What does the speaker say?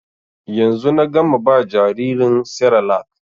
Yanzu na gama ba jaririn serelak